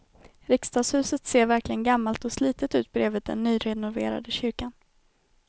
Riksdagshuset ser verkligen gammalt och slitet ut bredvid den nyrenoverade kyrkan.